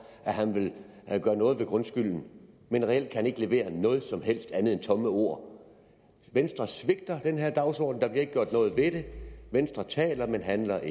at han vil gøre noget ved grundskylden men reelt kan han ikke levere noget som helst andet end tomme ord venstre svigter den her dagsorden der bliver ikke gjort noget ved det venstre taler men handler